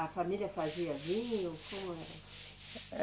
A família fazia vinho, como era?